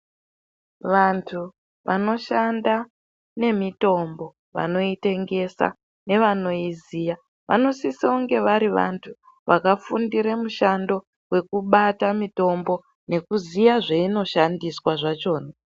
Vantu vanoshanda nemitombo vanoitengesa nevanoiziva. Vanosisa kunge varivanhu vakafundira mushando wekubata mitombo veiziva zvainoshandiswa zvakona